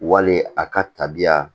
Wali a ka tabiya